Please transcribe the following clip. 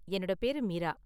என்னோட பேரு மீரா.